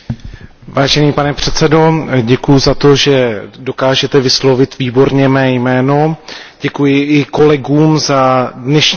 Pane předsedající, děkuji za to, že dokážete vyslovit výborně mé jméno, děkuji i kolegům za dnešní diskusi.